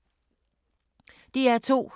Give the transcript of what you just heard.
DR2